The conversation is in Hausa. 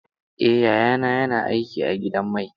Eh, yayana yana aiki a gidan mai.